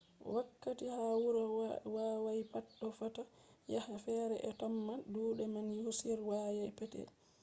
wakkati ha wuro hawayi pat ɗo fota yake fere ɓe ɗo tamma duuɗe man on hawayi petel